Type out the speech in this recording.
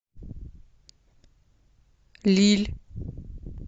лилль